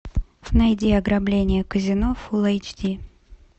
найди ограбление казино фулл эйч ди